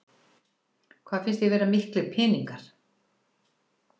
Hvað finnst þér vera miklir peningar?